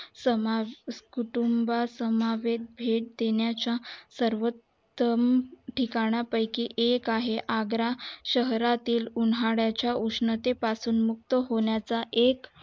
समास कुटुंब समवेत भेट देण्या च्या सर्वात्म ठिकाणा पयकी एक आहे आग्रा शहरातील उन्हाळया च्या उष्णतेपासून मुक्त होण्या चा एक